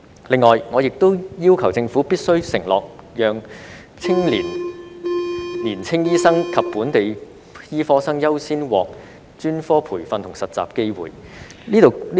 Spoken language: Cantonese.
此外，我亦要求政府必須承諾讓年青醫生及本地醫科生優先獲專科培訓和實習的機會。